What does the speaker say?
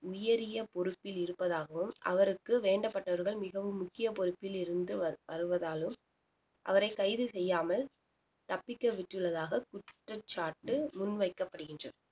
உயரிய பொறுப்பில் இருப்பதாகவும் அவருக்கு வேண்டப்பட்டவர்கள் மிகவும் முக்கிய பொறுப்பில் இருந்து வ~ வருவதாலும் அவரை கைது செய்யாமல் தப்பிக்க விட்டுள்ளதாக குற்றச்சாட்டு முன் வைக்கப்படுகின்றது